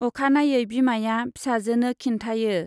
अखानायै बिमाया फिसाजोनो खिन्थायो।